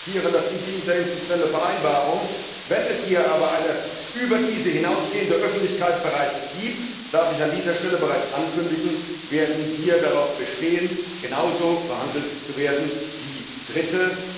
Wir akzeptieren die Interinstitutionelle Vereinbarung. Wenn es hier aber eine über diese hinausgehende Öffentlichkeit bereits gibt, darf ich an dieser Stelle bereits ankündigen, werden wir darauf bestehen, genauso behandelt zu werden wie Dritte.